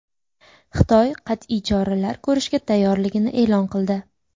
Xitoy qat’iy choralar ko‘rishga tayyorligini e’lon qildi.